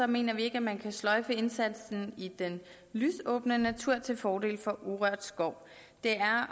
mener vi ikke at man kan sløjfe indsatsen i den lysåbne natur til fordel for urørt skov det er